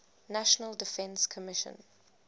national defense commission